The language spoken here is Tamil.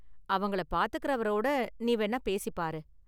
அவங்கள பாத்துகிறவரோடு நீ வேணா பேசி பாரு.